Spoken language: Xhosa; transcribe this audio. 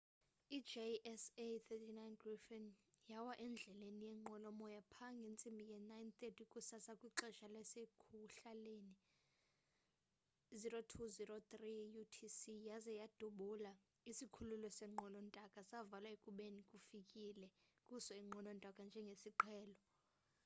i-jas 39c gripen yawa endleleni yeenqwelo moya pha ngentsimbi ye 9:30 kusasa kwixesha lasekuhlalenie 0230utc yaze yadubula isikhululo seenqwelo ntaka savalwa ekubeni kufikele kuso iinqwelo ntaka njengesiqhelo